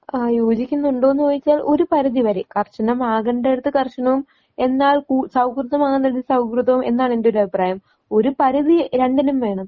ആഹ് യോജിക്കുന്നുണ്ടോ എന്നു ചോദിച്ചാൽ ഒരു പരിധിവരെ. കർശനമാകേണ്ടിടത്ത് കർശനവും എന്നാൽ കൂ സൗഹൃദമാകേണ്ടിടത്ത് സൗഹൃദവും എന്നാണ് എന്റൊരു അഭിപ്രായം. ഒരുപരിധി രണ്ടിനും വേണം.